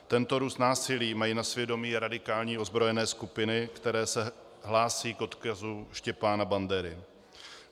Tento růst násilí mají na svědomí radikální ozbrojené skupiny, které se hlásí k odkazu Štěpána Bandery.